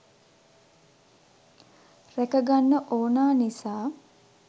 රැක ගන්න ඕනා නිසා.